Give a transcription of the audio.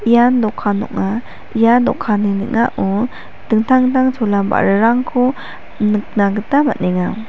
ian dokan ong·a ia dokanni ning·ao dingtang dingtang chola ba·rarangko nikna gita man·enga.